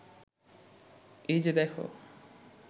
এই যে দেখ